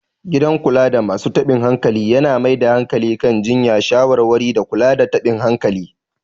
Gidan kulada masu taɓin hankali yana mai da hankali kan jiyya, shawarwari, da kula da taɓin hankali.